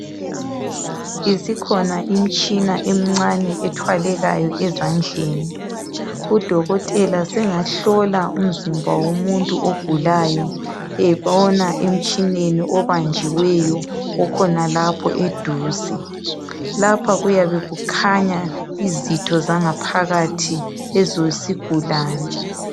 Isikhona imitshina emincane ethwalekayo ezandleni udokotela sengahlola umzimba womuntu ogulayo ebona emtshineni obanjiweyo okhonalapho eduze lapha kuyabe kukhanya izitho zangaphakathi zesigulane.